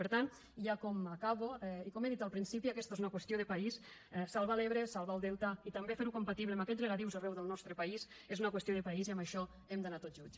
per tant ja com acabo i com he dit al principi aquesta és una qüestió de país salvar l’ebre salvar el delta i també fer ho compatible amb aquests regadius arreu del nostre país és una qüestió de país i en això hem d’anar tots junts